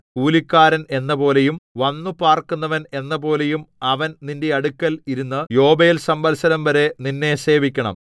കൂലിക്കാരൻ എന്നപോലെയും വന്നുപാർക്കുന്നവൻ എന്നപോലെയും അവൻ നിന്റെ അടുക്കൽ ഇരുന്നു യോബേൽസംവത്സരംവരെ നിന്നെ സേവിക്കണം